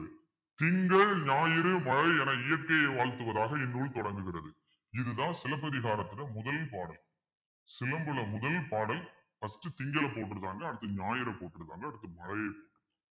திங்கள் ஞாயிறு மழை என இயற்கையை வாழ்த்துவதாக இந்நூல் தொடங்குகிறது இதுதான் சிலப்பதிகாரத்துல முதல் பாடல் சிலம்புல முதல் பாடல் first திங்களை போற்றுருக்காங்க அடுத்து ஞாயிறு போற்றுருக்காங்க அடுத்து மழையை